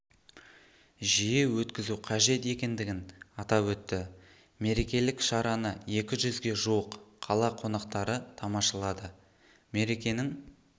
жиі өткізу қажет екендігін атап өтті мерекелік шараны екі жүзге жуық қала қонақтары тамашалады мерекенің